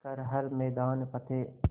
कर हर मैदान फ़तेह